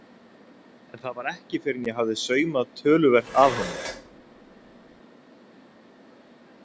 En það var ekki fyrr en ég hafði saumað töluvert að honum.